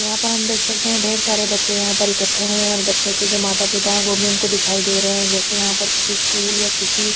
यहा पर हम देख सकते है ढेर सारे बच्चे यहा पर इखट्टे हुए है और बच्चो के जो माता पिता है वो भी हम को दिखाई दे रहे है जेसे यहा पर किसी स्कूल या किसी--